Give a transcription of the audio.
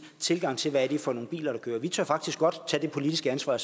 tilgang til hvad det er for nogle biler der kører vi tør faktisk godt tage det politiske ansvar